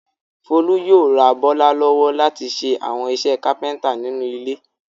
Folú yóò ra Bọ́lá lọ́wọ́ láti ṣe àwọn iṣẹ́ kápẹ́ńtà nínú ilé.